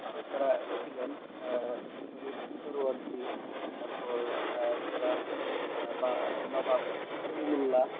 আরও যারা ছিলেন আহ শরিয়ৎ তারপর আহ যারা আহ বা নবাব সলিমুল্লাহ